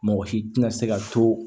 Mɔgɔ si tɛna se ka to